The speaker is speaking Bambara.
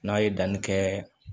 N'a ye danni kɛ